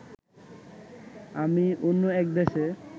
আমি অন্য এক দেশে